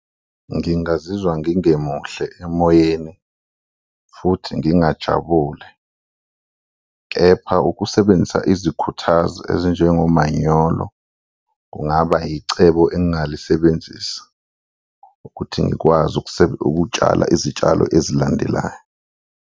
Ngingazizwa ngingemuhle emoyeni futhi ngingajabule kepha ukusebenzisa izikhuthazi ezinjengo manyolo kungaba icebo engingalisebenzisa ukuthi ngikwazi ukutshala izitshalo ezilandelayo.